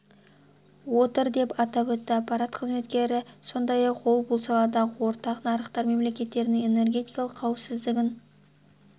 отыр деп атап өтті аппарат қызметкері сондай-ақ ол бұл саладағы ортақ нарықтар мемлекеттерінің энергетикалық қауіпсіздігін